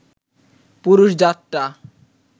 পুরুষ জাতটা